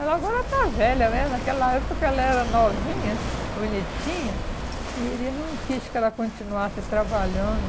Ela agora está velha né, naquela época ela era novinha, bonitinha, e ele não quis que ela continuasse trabalhando.